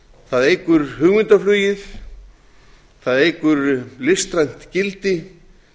það eykur hugmyndaflugið það eykur listrænt gildi